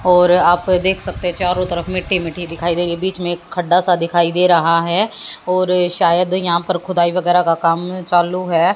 और आप देख सकते चारों तरफ मिट्टी मिट्टी दिखाई दे रही है बीच में एक खड्डा सा दिखाई दे रहा है और शायद यहां पर खुदाई वगैरह का काम चालू है।